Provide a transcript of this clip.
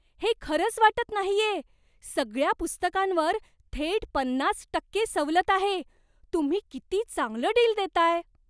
हे खरंच वाटत नाहीये! सगळ्या पुस्तकांवर थेट पन्नास टक्के सवलत आहे. तुम्ही किती चांगलं डील देताय.